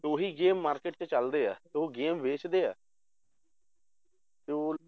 ਉਹੀ game market 'ਚ ਚੱਲਦੇ ਆ ਤੇ ਉਹ game ਵੇਚਦੇ ਆ ਤੇ ਉਹ